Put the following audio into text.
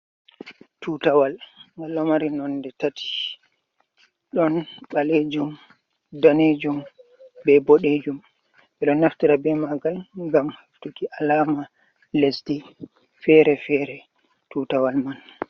Tuutawal, ngal ɗo mari nonɗe tati. Ɗon ɓaleejum, daneejum bee boɗeejum. Ɓe ɗon naftira bee maagal ngam heɓtuki alaama lesɗe feere-feere, tuutawal man.